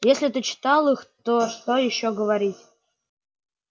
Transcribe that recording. если ты читал их то что ещё говорить